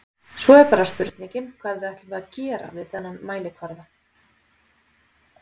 Svo er bara spurningin hvað ætlum við að gera við þennan mælikvarða?